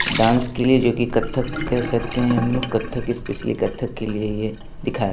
dance के लिए जो की कत्थक कहे सकते हैं हमलोग कत्थक स्पेसली कत्थक के लिए ये दिखाया --